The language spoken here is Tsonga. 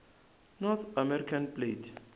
north american plate